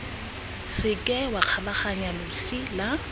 seke wa kgabaganya losi la